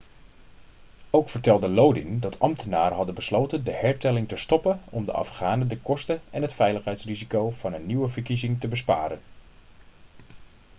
ook vertelde lodin dat ambtenaren hadden besloten de hertelling te stoppen om de afghanen de kosten en het veiligheidsrisico van een nieuwe verkiezing te besparen